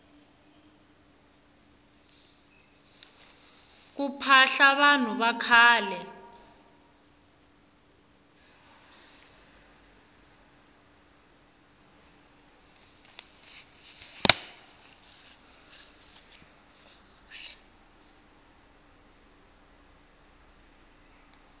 ku phahla vanhu vakhale